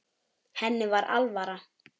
Henni var alvara.